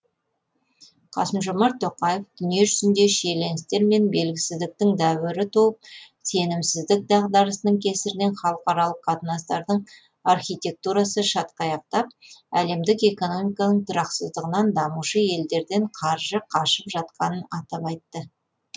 қасым жомарт тоқаев дүниежүзінде шиеленістер мен белгісіздіктің дәуірі туып сенімсіздік дағдарысының кесірінен халықаралық қатынастардың архитектурасы шатқаяқтап әлемдік экономиканың тұрақсыздығынан дамушы елдерден қаржы қашып жатқанын атап айтты